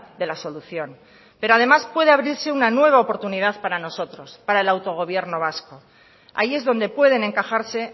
de la solución pero además puede abrirse una nueva oportunidad para nosotros para el autogobierno vasco ahí es donde pueden encajarse